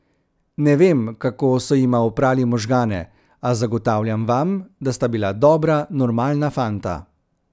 Ne vem, kako so jima oprali možgane, a zagotavljam vam, da sta bila dobra, normalna fanta.